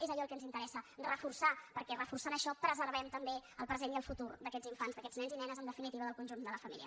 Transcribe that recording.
és allò el que ens interessa reforçar ho perquè reforçant això preservem també el present i el futur d’aquests infants d’aquests nens i nenes en definitiva del conjunt de la família